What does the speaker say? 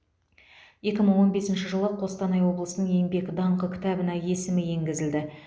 екі мың он бесінші жылы қостанай облысының еңбек даңқы кітабына есімі енгізілді